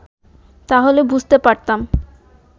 তাহলে বুঝতে পারতাম